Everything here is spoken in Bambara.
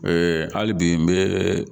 hali bi n bɛ